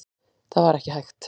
Það var ekki hægt.